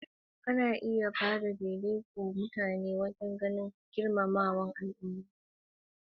Ana iya ba wa ɗaiɗaikun muƙamai na girmamawa saboda gudunmuwarsu ga al'umma.